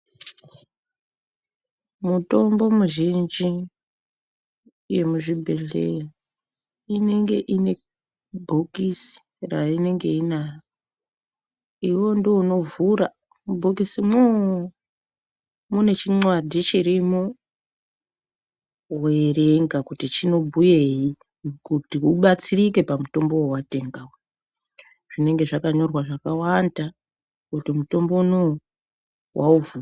Mutombo muzhinji yemuzvi bhedhlera inenge ine bhokisi rainenge inayo iwewe ndiwe unovhura mubhokisi moo mune chimwadhi chirimo weverenga kuti chinobuyeyi kuti ubatsirike pamutombo wawatenga uyu. Zvinenge zvakanyorwa zvakawanda kuti mutombo unou waufa.